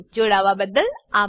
જોડાવાબદ્દલ આભાર